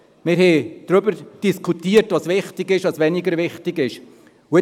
Wir haben darüber diskutiert, was wichtig ist und was weniger wichtig ist.